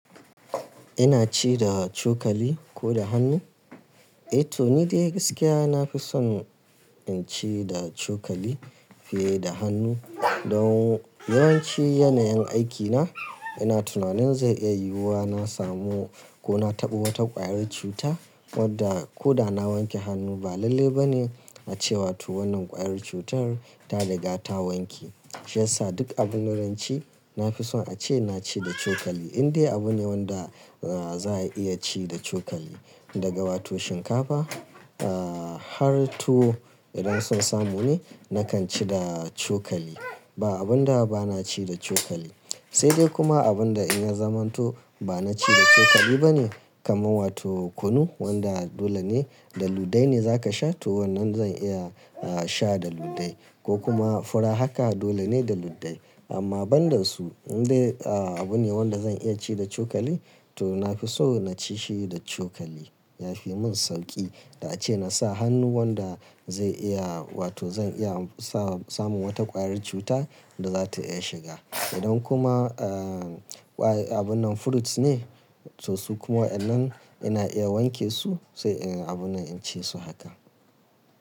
Ina ci da cokali ko da hannu? Eh to ni dai gaskiya na fi son in ci da cokali fiye da hannu. Don yawanci yanayin aikina ina tunanin zai iya yiwuwa na samu ko na taɓo wata ƙwayar cuta wadda ko da na wanke hannu ba lalle ba ne a ce wa to wannan ƙwayar cutar ta riga ta wanke. Shiyasa duk abin da zan ci na fi son a ce na ci da cokali. Indai abu ne wanda za a iya ci da cokali daga wato shinkafa, ahh har tuwo idan so samu ne nakan ci da cokali. Ba abunda ba na ci da cokali. Sai dai kuma abunda in ha zaman to ba na ci da cokali ba ne kamar wato kunu wanda dole ne da ludde ne za ka sha to wannan zan iya ahhh sha da ludde ko kuma fura haka dole ne da ludde. Amma banda su indai ahhh abu ne wanda zan iya ci da cokali to na fi so na ci shi da cokali. Yafi mun sauƙi da ace na sa hannu wanda zai iya wato zan iya am sa samun wata ƙwayar cuta da zata iya shiga. Idan kuma ahh ƙwaye abun nan fruits ne to su kuma wayannan ina iya wanke su sai in abun nan in ci su haka.